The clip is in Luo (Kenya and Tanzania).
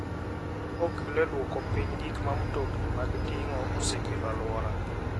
Okonyo e duoko piny gik ma mtokni mag ting'o osekelo e alwora.